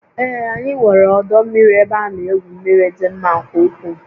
Ee, anyị nwere ọdọ mmiri ebe ana egwu mmiri dị mma nke ukwuu